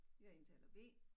Jeg er indtaler B